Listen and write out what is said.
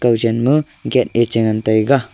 aga chen ma gate a che ngan tega.